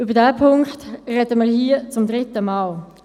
Über diesen Punkt sprechen wir hier zum dritten Mal.